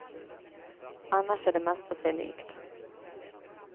Annars är det mesta sig likt.